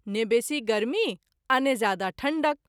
ने बेशी गर्मी आ ने जादा ठंढक।